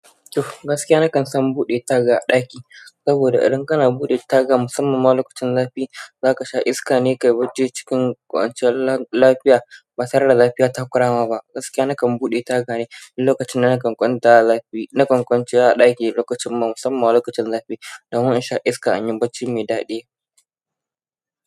Gaskiya na kan son buɗe taga a ɗaki, saboda idan kana buɗe taga mussaman ma lokacin zafi, za ka sha iska ne kayi bacci cikin ƙoshin lafiya, ba tare da zafi ya takura ma ba gaskiya na kan buɗe taga ne duk lokacin na kan kwanta a zafi, na kan kwanciya a ɗaki lokacin musamman ma lokacin zafi don in sha iska inyi bacci mai daɗi.